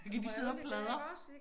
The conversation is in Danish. Så kan de sidde og pladre